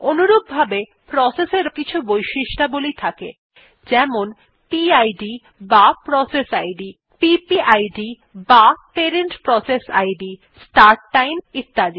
অনুরূপভাবে প্রসেস এরও কিছু বৈশিষ্ট্যাবলী থাকে যেমন PIDবা processইদ PPIDবা parent process ID start time ইত্যাদি